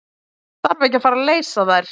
Þarf ekki að fara leysa þær?